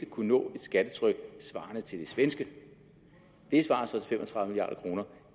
kunne nå et skattetryk svarende til det svenske det svarer så til fem og tredive milliard kroner